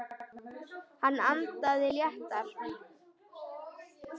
Hann andaði léttar.